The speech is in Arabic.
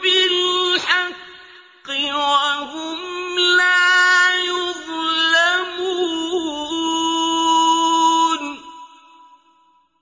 بِالْحَقِّ وَهُمْ لَا يُظْلَمُونَ